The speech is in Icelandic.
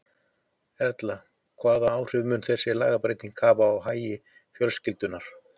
Erla, hvað áhrif mun þessi lagabreyting hafa á hagi fjölskyldunnar?